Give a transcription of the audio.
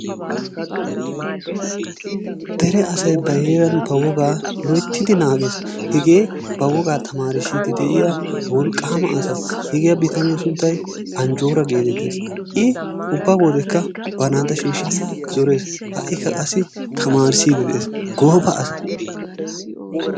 Dere asay ba heeran ba wogaa loyttidi naagees. Hegee ba wogaa tamaarissidi deiya wolqqama asa. Hegaa bitaniya sunttay Anjjora getettees. I ubba wodekka ba naata shiishidi zorees. Ha'kKa qassi tamaarissidi de'ees. Gooba asa.